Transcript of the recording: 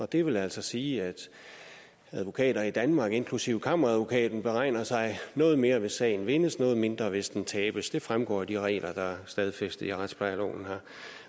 det vil altså sige at advokater i danmark inklusive kammeradvokaten beregner sig noget mere hvis sagen vindes noget mindre hvis den tabes det fremgår af de regler der er stedfæstet i retsplejeloven